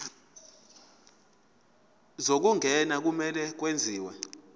zokungena kumele kwenziwe